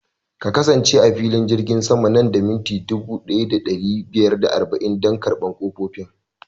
Ka kasance a filin jirgin sama nan da mintuna dubu ɗaya da ɗari biyar da arba'in dan karɓan ƙofofin